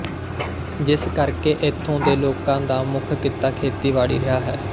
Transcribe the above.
ਜਿਸ ਕਰਕੇ ਇੱਥੋਂ ਦੇ ਲੋਕਾਂ ਦਾ ਮੁੱਖ ਕਿੱਤਾ ਖੇਤੀਬਾੜੀ ਰਿਹਾ ਹੈ